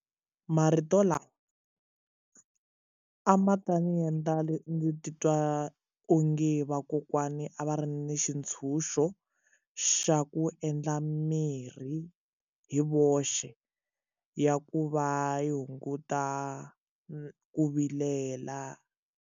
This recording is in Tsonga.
Marito lawa a ma ta ndzi endla ndzi titwa onge vakokwani a va ri ni xitshunxo xa ku endla mirhi hi voxe ya ku va yi hunguta ku vilela.